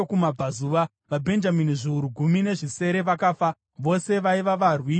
VaBhenjamini zviuru gumi nezvisere vakafa, vose vaiva varwi voumhare.